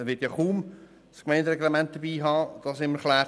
Er wird ja kaum das Gemeindereglement bei sich haben, das es ihm erklärt.